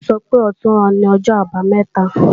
Bólú sọ pé ọ̀túnla ni O̩jọ́-Àbamé̩ta